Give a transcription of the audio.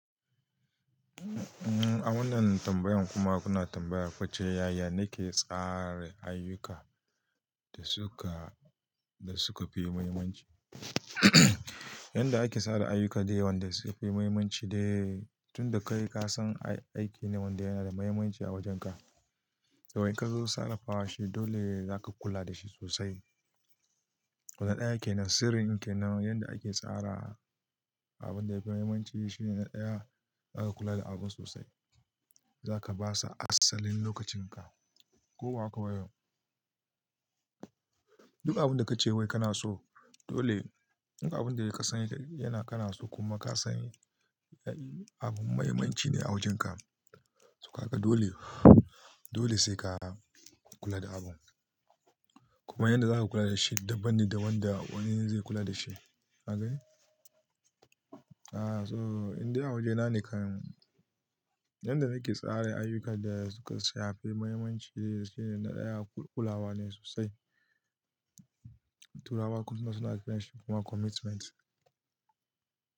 A wannan tambayan kuma kuna tambaya kuce yaya nake tsara ayyuka da suka, da suka fi muhimmanci. Yanda ake tsara ayyuka dai wanda suke fi muhimmanci dai tun da kai ka san aiki ne wanda yana da muhimmanci a wajenka. Da wai ka zo sarrafa shi dole zaka kula da shi sosai. Wannan ɗaya ke nan sirrin ke nan yanda ake tsara abun da yafi muhimmanci shine na ɗaya aka kula da abun sosai. Zaka basa asalin lokacin ka ko hakaba yau. Duk abun da ka ce wai kana so dole, duk abun da ya kasani yana kana so kuma ka san abun muhimmanci ne a wajenka. Soka kaga dole, dole sai ka kula da abun. Kuma yanda zaka kula da shi daban ne da wanda wani zai kula da shi. Ka gani? Ah so indai a wajena nekan, yanda nake tsara ayyukan da suka sanya fi muhimmanci shine na ɗaya kulawa ne sosai. Turawa kuma suna cewa commitment.